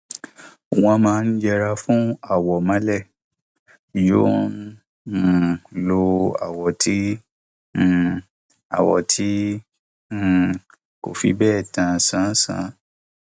wọn máa ń yẹra fún àwọ mọlẹ yòò ń um lo àwọ tí um àwọ tí um kò fi bẹẹ ta sánsán